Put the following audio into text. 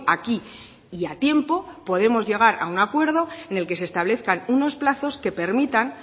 aquí y a tiempo podemos llegar a un acuerdo en el que se establezcan unos plazos que permitan